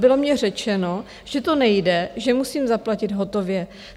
Bylo mně řečeno, že to nejde, že musím zaplatit hotově.